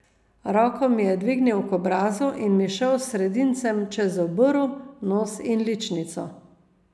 Roko mi je dvignil k obrazu in mi šel s sredincem čez obrv, nos in ličnico.